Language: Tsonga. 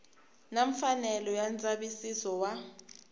na mfanelo ya ndzavisiso wa